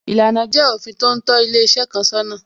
Ìlànà jẹ́ òfin tó ń tó ilé iṣẹ́ kan sọ́nà